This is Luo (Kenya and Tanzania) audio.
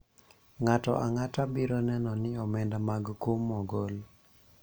ng'ato ang'ata biro neno ni omenda mag kum ogol